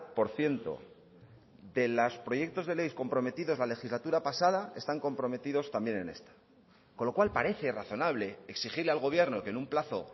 por ciento de los proyectos de ley comprometidos la legislatura pasada están comprometidos también en esta con lo cual parece razonable exigirle al gobierno que en un plazo